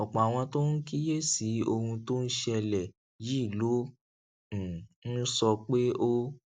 ọpọ àwọn tó ń kíyè sí ohun tó ń ṣẹlè yìí ló um ń sọ pé ó